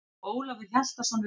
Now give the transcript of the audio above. Kær kveðja, Eiður Andri.